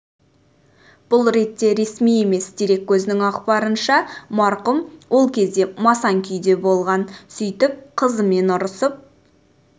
бұл ретте ресми емес дерек көзінің ақпарынша марқұм ол кезде масаң күйде болған сөйтііп қызымен ұрысып